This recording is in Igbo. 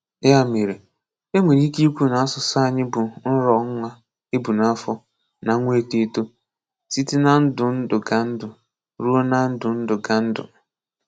Ya mere, e nwere ike ikwu na asụsụ anyị bụ nrọọ nwa e bu n’afọ na nwa etoeto, site na ndundụgandụ ruo na ndundụgandụ.